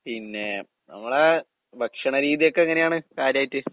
പിന്നെ നമ്മടെ ഭക്ഷണ രീതിയൊക്കെയെങ്ങനെയാണ് കാര്യായിട്ട്?